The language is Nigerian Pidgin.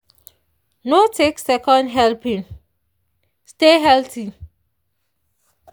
no take second helping stay healthy.